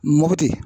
Mopti